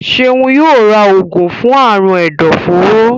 Seun yóò rà oògùn fún Àrùn ẹdọforó